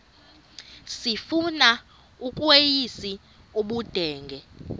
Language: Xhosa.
sifuna ukweyis ubudenge